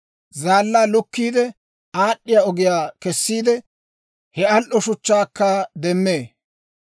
Zaallaa lukkiide, aad'd'iyaa ogiyaa kessiide, he al"o shuchchaakka demmee.